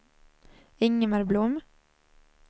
Ingemar Blom